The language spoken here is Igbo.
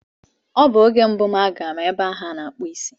Ọ bụ oge mbụ m na-aga ebe ahu ana akpu isi